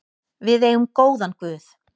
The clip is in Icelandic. Við eigum góðan guð.